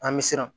An bɛ siran